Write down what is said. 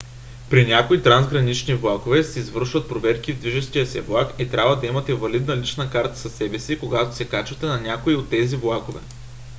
при някои трансгранични влакове се извършват проверки в движещия се влак и трябва да имате валидна лична карта със себе си когато се качвате на някой от тези влакове